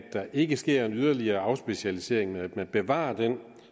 ikke sker en yderligere afspecialisering at man bevarer den